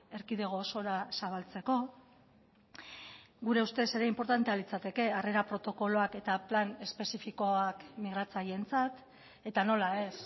erkidego osora zabaltzeko gure ustez ere inportantea litzateke harrera protokoloak eta plan espezifikoak migratzaileentzat eta nola ez